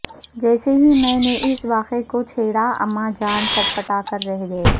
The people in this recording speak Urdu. جیسے ہی میں نے اس واقعے کو چھیڑا اما جان سٹپٹا کر رہ گئیں